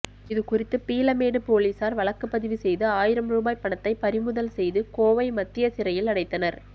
இது குறித்து பீளமேடு போலீசார் வழக்குப்பதிவு செய்து ஆயிரம் ரூபாய் பணத்தை பறிமுதல் செய்து கோவை மத்திய சிறையில் அடைத்தனர்